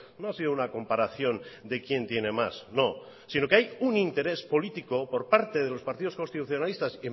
no ha sido una comparación de quién tiene más no sino que hay un interés político por parte de los partidos constitucionalistas